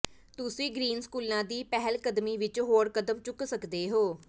ਤੁਸੀਂ ਗ੍ਰੀਨ ਸਕੂਲਾਂ ਦੀ ਪਹਿਲਕਦਮੀ ਵਿਚ ਹੋਰ ਕਦਮ ਚੁੱਕ ਸਕਦੇ ਹੋ